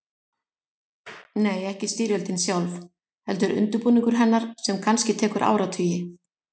Nei, ekki styrjöldin sjálf, heldur undirbúningur hennar sem kannski tekur áratugi.